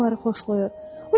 O hansı oyunları xoşlayır?